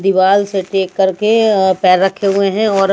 दीवाल से टेक कर के पैर रखे हुए हैं और--